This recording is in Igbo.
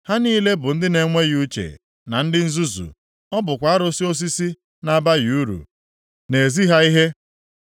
Ha niile bụ ndị na-enweghị uche na ndị nzuzu. Ọ bụkwa arụsị osisi na-abaghị uru na-ezi ha ihe.